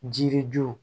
Jiri juru